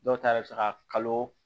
Dɔw ta yɛrɛ bɛ se ka kalo